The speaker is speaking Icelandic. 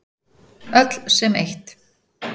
Öll sem eitt.